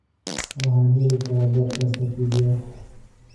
Waxaan heli karaa podcast tvf